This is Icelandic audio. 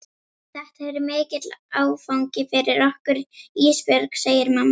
Þetta er mikill áfangi fyrir okkur Ísbjörg, segir mamma.